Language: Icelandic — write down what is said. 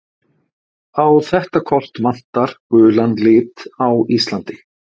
Á þetta kort vantar gulan lit á Íslandi.